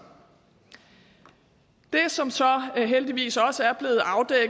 det som så heldigvis også er